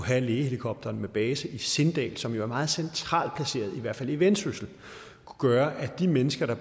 have en lægehelikopter med base i sindal som er meget centralt placeret i hvert fald i vendsyssel gøre at de mennesker der